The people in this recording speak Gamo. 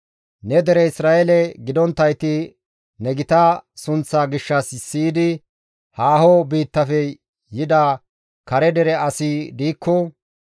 «Ne dere Isra7eele gidonttayti ne gita sunththaa gishshas siyidi haaho biittafe yida kare dere asi diikko,